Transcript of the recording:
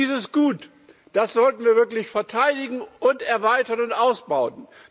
Dieses Gut, das sollten wir wirklich verteidigen, erweitern und ausbauen.